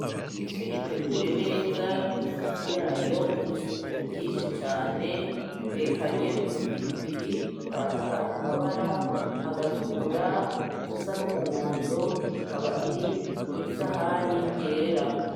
Ifi iteguye neza n'isosi yayo mw'isuku ryinshi cane itekany'udupiripiri dutandukany'amabara; agatukura, udusa n'umuhondo, ikaba iri mw'isahani yera.